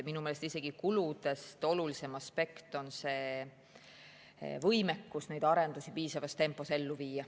Minu meelest on kuludest olulisem aspekt isegi võimekus neid arendusi piisavas tempos ellu viia.